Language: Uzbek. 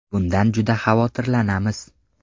Bundan juda xavotirlanamiz.